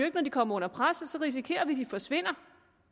ikke når de kommer under pres og så risikerer vi at de forsvinder